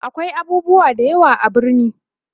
akwai abubuwan safari da yawa a birni